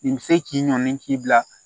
Nin bɛ se k'i ɲɔni k'i bila